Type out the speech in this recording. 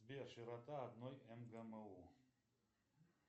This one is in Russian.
сбер широта одной мгму